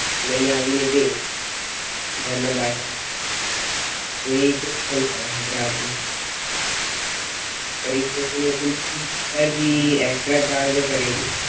લાય આવીને તે ઘર ના બાર આવે તો એ પણ થાય જાય ગ્રાહક ને પર એ લોકો ને એ નથી ખબર કી extra ચાર્જ કરે.